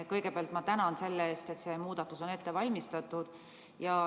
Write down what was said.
Kõigepealt ma tänan selle eest, et see muudatus on ette valmistatud.